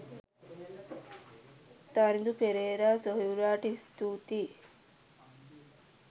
තරිඳු පෙරේරා සොහොයුරාට ස්තූතියි.